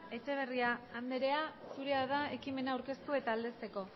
etxeberria andrea zurea da ekimena aurkeztu eta aldezteko